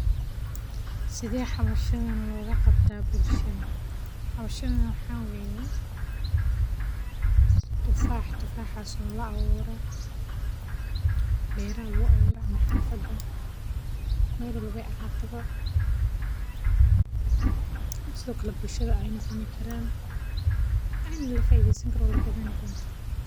Sithe hoshan loga qabtaa bulshaada waxaa loga qabtaa waxan wa tjfax, tufaxas oo la abure beraha lagu abura ama xafada bulshaada aya cuni kartaa sithokale bulshaada aya kafaidesan kartaa.